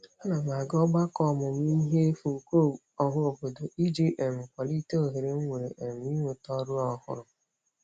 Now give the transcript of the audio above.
A na m aga ọgbakọ ọmụmụihe efu nke ọhaobodo iji um kwalite ohere m nwere um inweta ọrụ ọhụrụ.